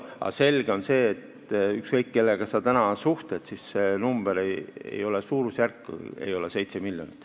Aga selge on see, et ükskõik, kellega sa täna suhtled, siis öeldakse, et see suurusjärk ei ole 7 miljonit.